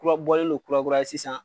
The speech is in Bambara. Kurabɔlen don kura kura ye sisan.